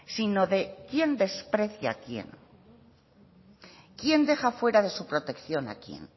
sino de quién desprecia a quién quién deja fuera de protección a quién